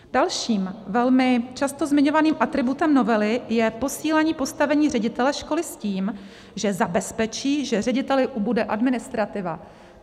Dalším velmi často zmiňovaným atributem novely je posílení postavení ředitele školy s tím, že zabezpečí, že řediteli ubude administrativa.